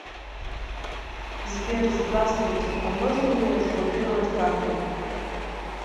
сбер здравствуйте а можно мне разблокировать карту